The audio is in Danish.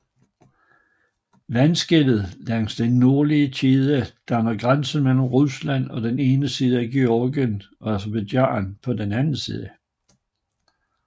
Vandskellet langs den nordlige kæde danner grænse mellem Rusland på den ene side og Georgien og Aserbajdsjan på den anden